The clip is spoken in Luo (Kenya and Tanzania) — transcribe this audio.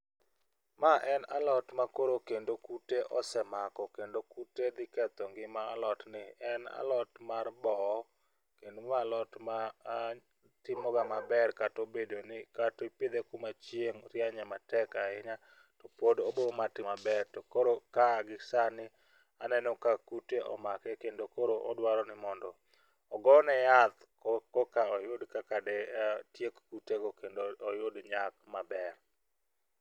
Ma en alot makoro kendo kute osemako kendo kute dhi ketho ngima alot ni. En alot mar boo kendo ma alot ma timo ga maber katobedo ni katipidhe kuma chieng' rienye matek ahinya to pod obo ma timo maber. To koro ka gisani aneno ka kute omake kendo odwaro mondo ogone yath ko koka oyud kaka dotiek kute go kendo oyud nyak maber.